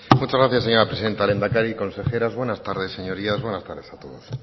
muchas gracias señora presidenta lehendakari consejeros buenas tardes señorías buenas tardes a todos